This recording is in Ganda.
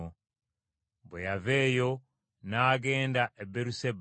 Bwe yava eyo n’agenda e Beeruseba.